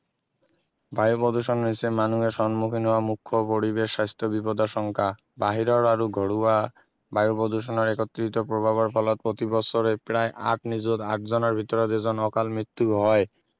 বায়ু প্ৰদূষণ হৈছে মানুহে সন্মুখীন হোৱা মুখ্য পৰিবেশ স্বাস্থ্য বিপদাশংকা বাহিৰৰ আৰু ঘৰুৱা বায়ু প্ৰদূষণৰ একত্ৰিত প্ৰভাৱৰ ফলত প্ৰতি বছৰে প্ৰায় আঠ নিযুত আঠ জনৰ ভিতৰত এজনৰ অকাল মৃত্যু হয়